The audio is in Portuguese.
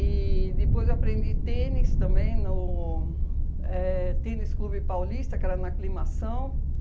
E depois aprendi tênis também no éh Tênis Clube Paulista, que era na Aclimação.